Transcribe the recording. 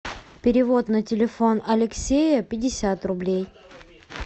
перевод на телефон алексея пятьдесят рублей